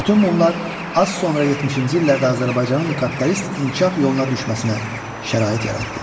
Bütün bunlar az sonra 70-ci illərdə Azərbaycanın kapitalist inkişaf yoluna düşməsinə şərait yaratdı.